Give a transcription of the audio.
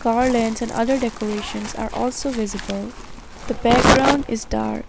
Car lane and other decorations are also visible. The background is dark.